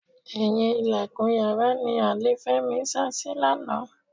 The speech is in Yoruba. Ẹ̀yìn ìlẹ̀kùn yàrá ni àlè Fẹ́mi sásí lánàá.